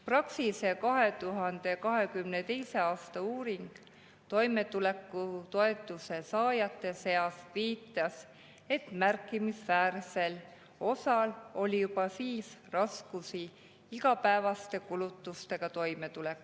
Praxise 2022. aasta uuring toimetulekutoetuse saajate seas viitas, et märkimisväärsel osal oli juba siis raskusi igapäevaste kulutustega toimetulemisel.